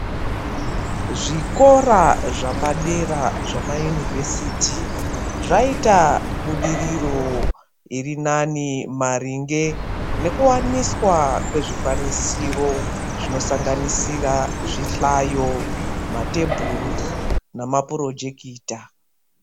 Zvikora zvapedera zvemaYunivhesiti zvaita budiriro irinani maringe nekuwaniswa kwezvikwanisiro zvinosanganisira zvihlayo ,matebhuru nemapurojekita.